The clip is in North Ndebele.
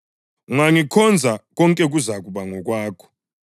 Ungangikhonza konke kuzakuba ngokwakho.”